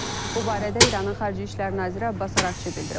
Bu barədə İranın xarici İşlər naziri Abbas Araqçı bildirib.